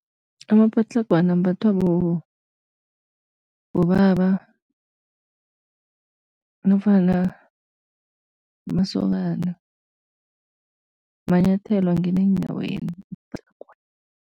Amapatlagwana ambathwako bobaba nofana amasokana, manyathelo angena eenyaweni